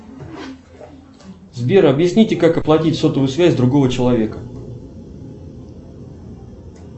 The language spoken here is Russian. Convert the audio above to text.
сбер объясните как оплатить сотовую связь другого человека